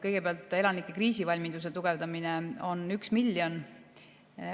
Kõigepealt, elanike kriisivalmiduse tugevdamisele on 1 miljon.